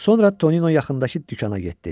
Sonra Tonino yaxındakı dükana getdi.